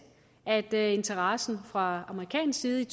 at interessen fra amerikansk side